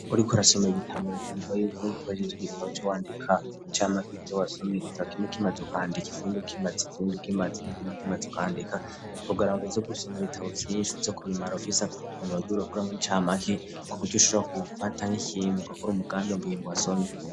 Uriko rasomee igitaba unakanurwa yuko nwikohejeje igitabo c'uwandika icamake ivyo wasome igitabo kimukimazo kandika ikinduka imazi ikinduka imazi n'ikindukimazo kandika kugaranguzi gusoma ibitabo vyinshi zo ku bimara fise kutunuwa jw'iroguramwo icamake ku kujushura kubufatank'ikindukakuri umugami wmbuyindu wasomye.